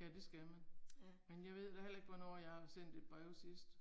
Ja det skal man. Men jeg ved da heller ikke hvornår jeg har sendt et brev sidst.